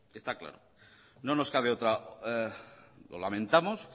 está claro lo lamentamos